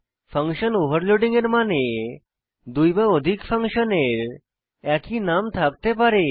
function overloading এর মানে দুই বা অধিক ফাংশনের একই নাম থাকতে পারে